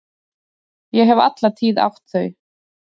Ég hef alla tíð átt þau.